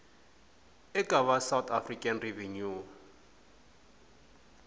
eka va south african revenue